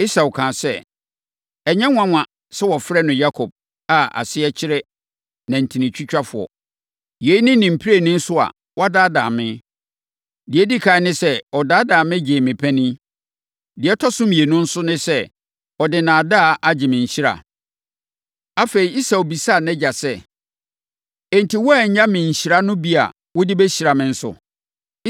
Esau kaa sɛ, “Ɛnyɛ nwanwa sɛ wɔfrɛ no Yakob + 27.36 Edin Yakob asekyerɛ reyɛ akɔyɛ omimfoɔ anaa osisifoɔ. a aseɛ kyerɛ nantitwitwafoɔ. Yei ne ne mprenu so a wadaadaa me. Deɛ ɛdi ɛkan ne sɛ, ɔdaadaa me gyee me panin. Deɛ ɛtɔ so mmienu nso ne sɛ, ɔde nnaadaa agye me nhyira!” Afei, Esau bisaa nʼagya sɛ, “Enti, woannya me nhyira no bi a wode bɛhyira me nso?”